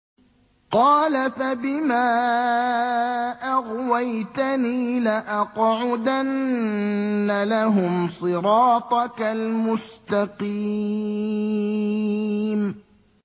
قَالَ فَبِمَا أَغْوَيْتَنِي لَأَقْعُدَنَّ لَهُمْ صِرَاطَكَ الْمُسْتَقِيمَ